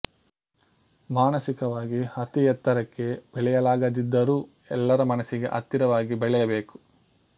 ಮಾನಸಿಕವಾಗಿ ಅತಿ ಎತ್ತರಕ್ಕೆ ಬೆಳೆಯಲಾಗದಿದ್ದರೂ ಎಲ್ಲರ ಮನಸ್ಸಿಗೆ ಹತ್ತಿರವಾಗಿ ಬೆಳೆಯಬೇಕು